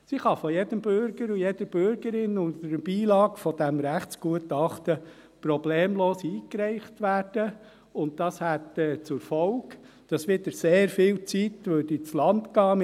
Sie kann von jedem Bürger und jeder Bürgerin unter Beilegen dieses Rechtsgutachtens problemlos eingereicht werden, und dies hätte zur Folge, dass wieder sehr viel Zeit ins Land ginge.